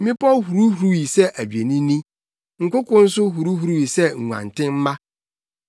Mmepɔw huruhuruwii sɛ adwennini, nkoko nso huruhuruwii sɛ nguantenmma.